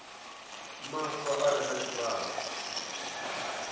maswa a re na tshivhalo